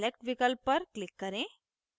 select विकल्प पर click करें